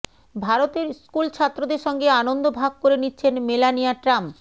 ভারতের স্কুলছাত্রদের সঙ্গে আনন্দ ভাগ করে নিচ্ছেন মেলানিয়া ট্রাম্প